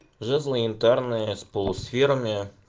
жезды янтарные с полусферами